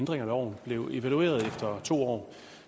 sig om og jeg